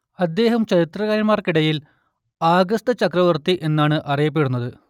അദ്ദേഹം ചരിത്രകാരന്മാർക്കിടയിൽ ആഗസ്ത് ചക്രവർത്തി എന്നാണ് അറിയപ്പെടുന്നത്